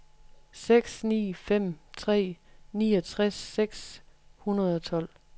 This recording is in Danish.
seks ni fem tre niogtres seks hundrede og tolv